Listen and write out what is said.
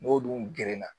N'o dun gerenna